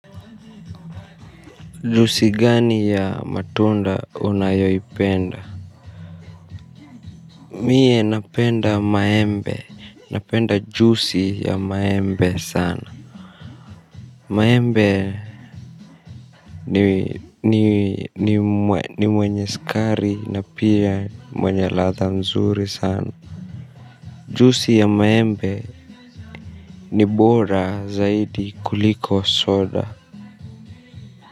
Jusi gani ya matunda unayoipenda? Mie napenda maembe, napenda jusi ya maembe sana. Maembe ni mwenye sukari na pia mwenye latha nzuri sana jusi ya maembe ni bora zaidi kuliko soda.